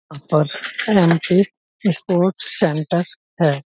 Sports centre है।